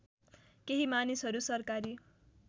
केही मानिसहरू सरकारी